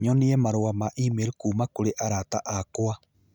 nyonie marũa ma e-mail kuuma kũrĩ arata akwa